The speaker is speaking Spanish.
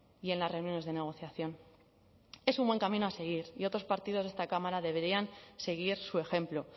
y en las reuniones de negociación es un buen camino a seguir y otros partidos de esta cámara deberían seguir su ejemplo